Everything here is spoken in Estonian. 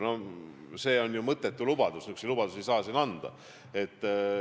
Noh, see oleks ju mõttetu lubadus, selliseid lubadusi ei saa siin anda.